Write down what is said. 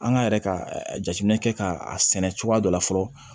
An ka yɛrɛ ka jateminɛ kɛ ka a sɛnɛ cogoya dɔ la fɔlɔ